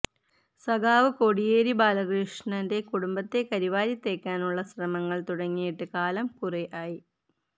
സഖാവ് കോടിയേരി ബാലഷ്ണന്റെ കുടുംബത്തെ കരി വാരിത്തേക്കാനുള്ള ശ്രമങ്ങൾ തുടങ്ങിയിട്ട് കാലം കുറെയായി